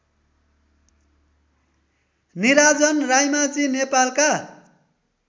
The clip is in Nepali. निराजन रायमाझी नेपालका